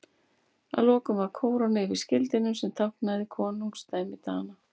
Að lokum var kóróna yfir skildinum sem táknaði konungdæmi Dana.